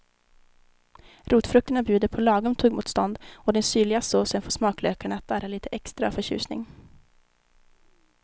Rotfrukterna bjuder på lagom tuggmotstånd och den syrliga såsen får smaklökarna att darra lite extra av förtjusning.